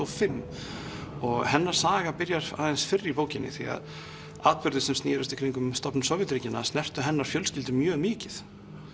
og fimm og hennar saga byrjar aðeins fyrr í bókinni því að atburðir sem snérust í kringum stofnun Sovétríkjanna snertu hennar fjölskyldu mjög mikið